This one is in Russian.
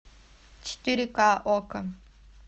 четыре ка окко